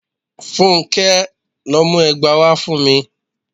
Fúnké! lọ mú ẹgba wá fún mi.